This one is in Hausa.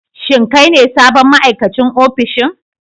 Shin kai ne sabon ma'aikacin ofishin?